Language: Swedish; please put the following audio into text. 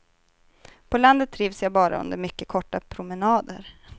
På landet trivs jag bara under mycket korta promenader.